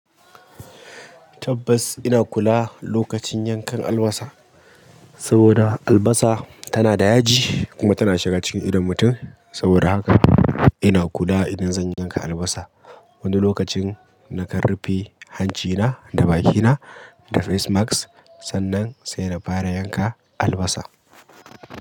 Tabbas ina kula lokacin yankan albasa saboda albasa tana da yaji kuma tana shiga cikin idon mutum. Saboda haka ina kula idan zan yanka albasa. Wani lokacin na kan rufe hancina da bakina da face mask sannan sai na fara yanka albasa.